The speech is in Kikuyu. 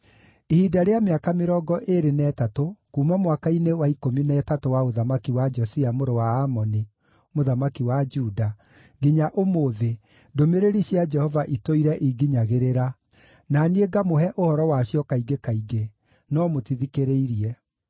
Ihinda rĩa mĩaka mĩrongo ĩĩrĩ na ĩtatũ, kuuma mwaka-inĩ wa ikũmi na ĩtatũ wa ũthamaki wa Josia mũrũ wa Amoni mũthamaki wa Juda, nginya ũmũthĩ, ndũmĩrĩri cia Jehova itũire inginyagĩrĩra, na niĩ ngamũhe ũhoro wacio kaingĩ kaingĩ, no mũtithikĩrĩirie.